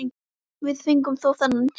Við fengum þó þennan tíma.